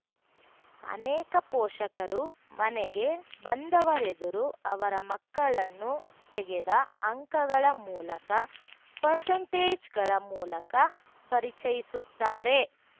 ಅನೇಕ ಪೋಷಕರು ಮನೆಗೆ ಬಂದವರೆದುರು ಅವರ ಮಕ್ಕಳನ್ನು ತೆಗೆದ ಅಂಕಗಳ ಮೂಲಕ ಪರ್ಸೆಂಟೇಜ್‌ಗಳ ಮೂಲಕ ಪರಿಚಯಿಸುತ್ತಾರೆ